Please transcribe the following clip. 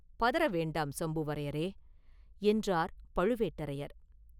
பதற வேண்டாம் சம்புவரையரே!” என்றார் பழுவேட்டரையர்.